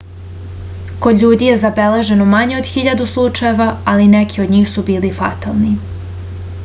kod ljudi je zabeleženo manje od hiljadu slučajeva ali neki od njih su bili fatalni